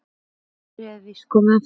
Góðærið er víst komið aftur.